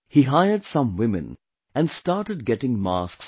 He hired some women and started getting masks made